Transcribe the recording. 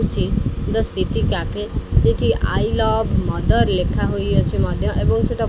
ସେଠି the city cafe ସେଠି I love mother ଲେଖା ହୋଇଅଛି ମଧ୍ୟ ଏବଂ ସେଇଟା --